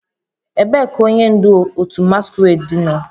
Ebee ka onye ndu otu masquerade nọ?